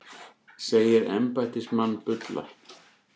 Segir embættismann bulla